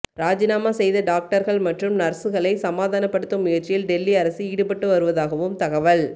ராஜினாமா செய்த டாக்டர்கள் மற்றும் நர்ஸ்களை சமாதானப்படுத்தும் முயற்சியில் டெல்லி அரசு ஈடுபட்டு வருவதாகவும் தகவல்